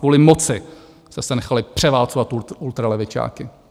Kvůli moci jste se nechali převálcovat ultralevičáky.